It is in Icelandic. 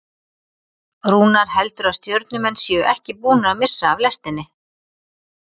Rúnar heldur að Stjörnumenn séu ekki búnir að missa af lestinni.